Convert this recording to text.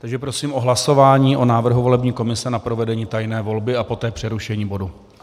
Takže prosím o hlasování o návrhu volební komise na provedení tajné volby a poté přerušení bodu.